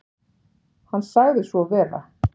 Hann sagði svo vera.